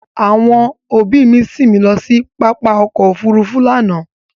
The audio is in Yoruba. Àwọn ọbí mi sín mi lọ sí pápá ọkọ̀ òfurufú lánàá